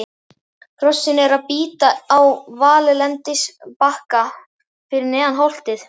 Hrossin eru að bíta á valllendisbakka fyrir neðan holtið.